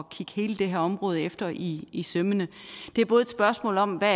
kigge hele det her område efter i i sømmene det er både et spørgsmål om hvad